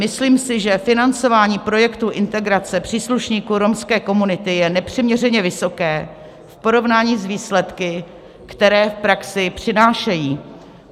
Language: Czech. Myslím si, že financování projektů integrace příslušníků romské komunity je nepřiměřené vysoké v porovnání s výsledky, které v praxi přinášejí.